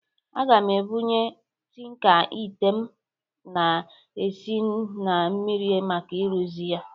Aga m ebunye tịnka ịte m na-esi n mmiri maka ịrụzi ya